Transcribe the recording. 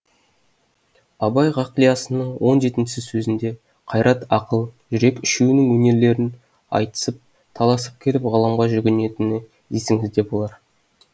абай ғақлиясының он жетінші сөзінде қайрат ақыл жүрек үшеуінің өнерлерін айтысып таласып келіп ғылымға жүгінетіні есіңізде болар